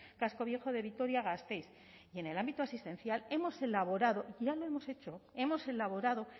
casco viejo de vitoria gasteiz y en el ámbito asistencial hemos elaborado ya lo hemos hecho hemos elaborado